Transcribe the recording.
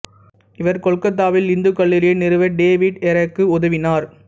இவர் கொல்கத்தாவில் இந்துக் கல்லூரியை நிறுவ டேவிட் ஹரேக்கு உதவினார்